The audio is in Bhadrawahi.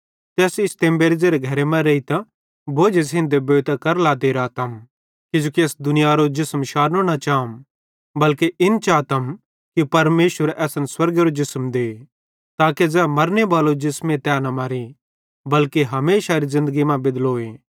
ते अस इस तेम्बेरे ज़ेरे घरे मां रेइतां बोझे सेइं देबोइतां कर लाते रातम किजोकि अस दुनियारो जिसम शारनो न चाम बल्के इन चातम कि परमेशर असन स्वर्गेरो जिसम दे ताके ज़ै मरने बालो जिसमे तै न मरे बल्के हमेशारे ज़िन्दगी मां बेदलोए